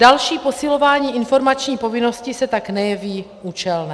Další posilování informační povinnosti se tak nejeví účelné.